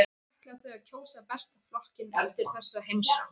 En ætla þau að kjósa Besta flokkinn eftir þessa heimsókn?